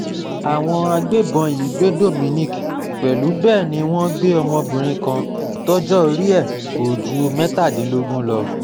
àwọn agbébọn yìí gbé dominic pẹ̀lú bẹ́ẹ̀ ni wọ́n gbé ọmọbìnrin kan tọjọ́ orí ẹ̀ kò ju mẹ́tàdínlógún lọ